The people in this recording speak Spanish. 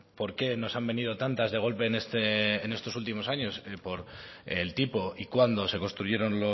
por qué nos han venido tantas de golpe en esto últimos años por el tipo y cuándo se construyeron